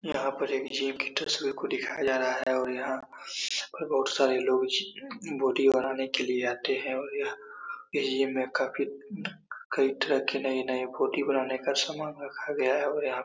यहां पर एक जिम की तस्वीर को दिखाया जा रहा है और यहां पर बहोत सारे लोग बॉडी बनाने आते हैं और यहां पे कई तरह के नए-नए बॉडी बनाने का सामान रखा गया है और यहाँ --